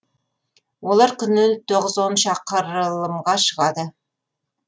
олар күні шақырылымға шығады